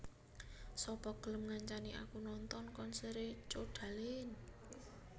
Sapa gelem ngancani aku nonton konsere Codaline